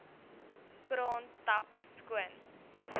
kraan tap skoon